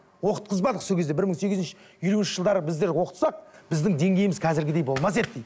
оқытқызбадық сол кезде бір мың сегіз жүз елуінші жылдары біздер оқытсақ біздің деңгейіміз қазіргідей болмас еді дейді